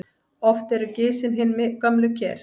Oft eru gisin hin gömlu ker.